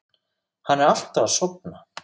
Hann er alltaf að sofna.